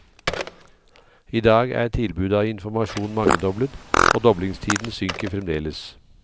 I dag er tilbudet av informasjon mangedoblet, og doblingstiden synker fremdeles.